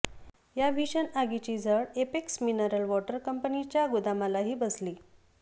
या भीषण आगीची झळ एपेक्स मिनरल वॉटर कंपनीच्या गोदामालाही बसली